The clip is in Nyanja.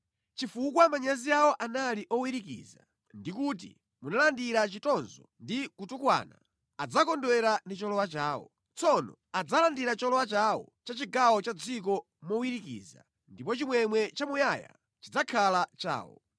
Chifukwa manyazi awo anali owirikiza; ndi kuti munalandira chitonzo ndi kutukwana, adzakondwera ndi cholowa chawo, tsono adzalandira cholowa chawo cha chigawo cha dziko mowirikiza, ndipo chimwemwe chamuyaya chidzakhala chawo.